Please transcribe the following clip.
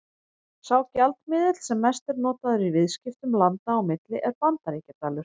Sá gjaldmiðill sem mest er notaður í viðskiptum landa á milli er Bandaríkjadalur.